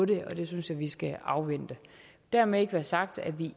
det synes jeg vi skal afvente dermed ikke være sagt at vi